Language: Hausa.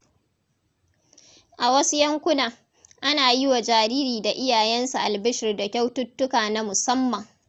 A wasu yankuna, ana yi wa jariri da iyayensa albishir da kyaututtuka na musamman.